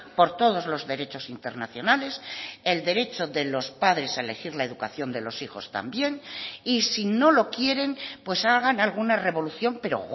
por todos los derechos internacionales el derecho de los padres a elegir la educación de los hijos también y si no lo quieren pues hagan alguna revolución pero